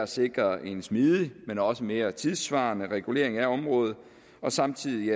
sikre en smidig men også mere tidssvarende regulering af området og samtidig